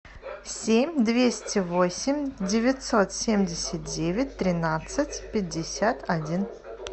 семь двести восемь девятьсот семьдесят девять тринадцать пятьдесят один